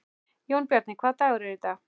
Jónbjarni, hvaða dagur er í dag?